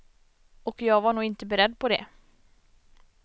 Och jag var nog inte beredd på det.